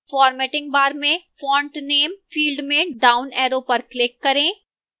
formatting bar में font name field में downarrow पर click करें